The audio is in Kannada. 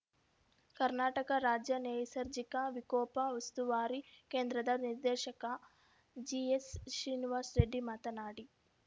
ಕರ್ನಾಟಕ ರಾಜ್ಯ ನೈಸರ್ಜಿಕ ವಿಕೋಪ ಉಸ್ತುವಾರಿ ಕೇಂದ್ರದ ನಿರ್ದೇಶಕ ಜಿಎಸ್‌ ಶ್ರೀನಿವಾಸ್‌ ರೆಡ್ಡಿ ಮಾತನಾಡಿ